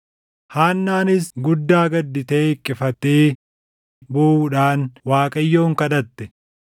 Haannaanis guddaa gadditee hiqqifatee booʼuudhaan Waaqayyoon kadhatte.